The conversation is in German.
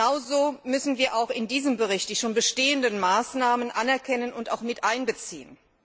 Genauso müssen wir auch in diesem Bericht die schon bestehenden Maßnahmen anerkennen und auch mit einbeziehen.